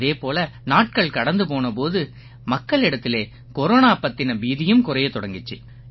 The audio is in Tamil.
அதே போல நாட்கள் கடந்து போன போது மக்களிடத்திலே கொரோனா பத்தின பீதியும் குறையத் தொடங்கிச்சு